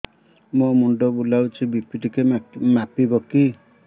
ମୋ ମୁଣ୍ଡ ବୁଲାଉଛି ବି.ପି ଟିକିଏ ମାପିବ କି